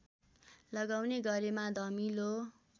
लगाउने गरेमा धमिलो